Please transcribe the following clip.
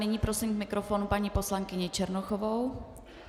Nyní prosím k mikrofonu paní poslankyni Černochovou.